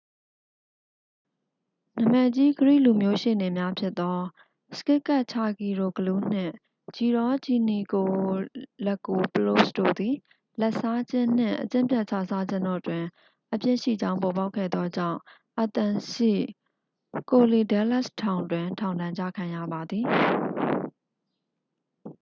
နာမည်ကြီး ဂရိလူမျိုးရှေ့နေများဖြစ်သော စကစ်ကက်ချာဂီရိုဂလူး နှင့် ဂျီရောဂျီနီကိုလက်ကိုပလို့စ် တို့သည် လာဘ်စားခြင်းနှင့် အကျင့်ပျက်ခြစားခြင်းတို့တွင် အပြစ်ရှိကြောင်းပေါ်ပေါက်ခဲ့သောကြောင့် athens ရှိ korydallus ထောင်တွင် ထောင်ဒဏ်ကျခံရပါသည်